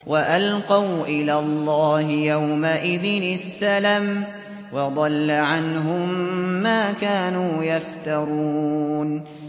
وَأَلْقَوْا إِلَى اللَّهِ يَوْمَئِذٍ السَّلَمَ ۖ وَضَلَّ عَنْهُم مَّا كَانُوا يَفْتَرُونَ